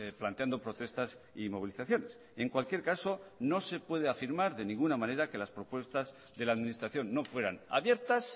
planteando protestas y movilizaciones en cualquier caso no se puede afirmar de ninguna manera que las propuestas de la administración no fueran abiertas